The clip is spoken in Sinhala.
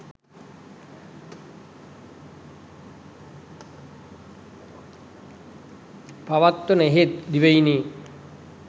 පවත්වන එහෙත් දිවයිනේ